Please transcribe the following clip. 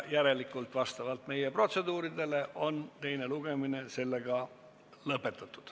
Järelikult on vastavalt meie protseduuridele teine lugemine lõpetatud.